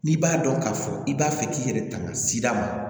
N'i b'a dɔn k'a fɔ i b'a fɛ k'i yɛrɛ tanga sida ma